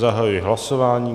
Zahajuji hlasování.